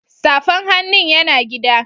Safan hannun ya na gida.